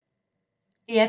DR P2